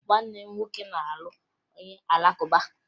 Nwanne m nwoke na-alụ onye Alakụba